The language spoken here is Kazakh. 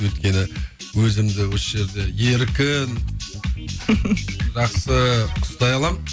өйткені өзімді осы жерде еркін жақсы ұстай аламын